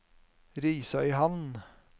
Risøyhamn